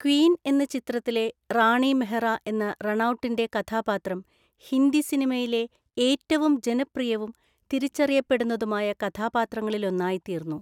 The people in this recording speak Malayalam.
ക്വീൻ എന്ന ചിത്രത്തിലെ റാണി മെഹ്റ എന്ന റണൗട്ടിൻ്റെ കഥാപാത്രം ഹിന്ദി സിനിമയിലെ ഏറ്റവും ജനപ്രിയവും തിരിച്ചറിയപ്പെടുന്നതുമായ കഥാപാത്രങ്ങളിലൊന്നായിത്തീർന്നു.